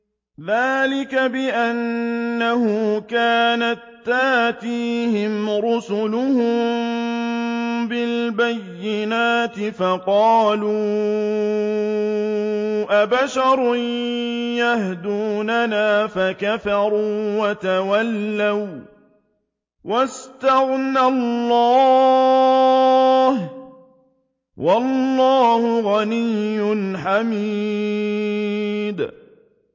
ذَٰلِكَ بِأَنَّهُ كَانَت تَّأْتِيهِمْ رُسُلُهُم بِالْبَيِّنَاتِ فَقَالُوا أَبَشَرٌ يَهْدُونَنَا فَكَفَرُوا وَتَوَلَّوا ۚ وَّاسْتَغْنَى اللَّهُ ۚ وَاللَّهُ غَنِيٌّ حَمِيدٌ